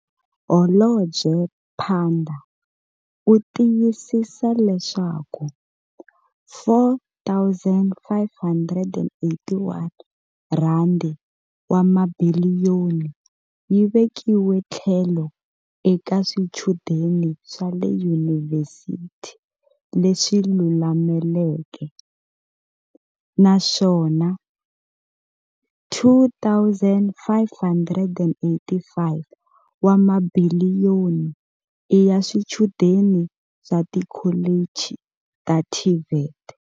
Holobye Pandor u tiyisisa leswaku R4, 581 wa mabiliyoni yi vekiwe tlhelo eka swichudeni swa le yunivhesiti leswi lulameleke, naswona R2, 585 wa mabiliyoni i ya swichudeni swa tikholichi ta TVET.